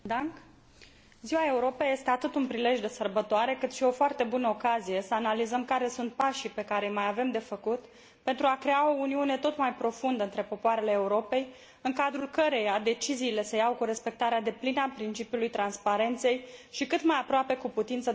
Ziua Europei este atât un prilej de sărbătoare, cât și o foarte bună ocazie să analizăm care sunt pașii pe care îi mai avem de făcut pentru a crea o uniune tot mai profundă între popoarele Europei, în cadrul căreia deciziile se iau cu respectarea deplină a principiului transparenței și cât mai aproape cu putință de cetățeni.